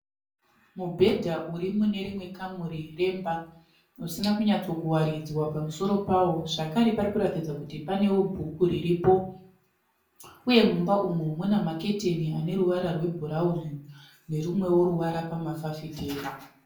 Mubhedha urimunerimwe kamuri remba usina kunyatsokuwaridzwa pamusoro pawo. Zvakare parikuratidza kuti panewo bhuku riripo. Uye mumba umu munemaketeni aneruvara rwebhurauni nerumwewo ruvara pamafafitera.